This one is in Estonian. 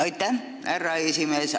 Aitäh, härra esimees!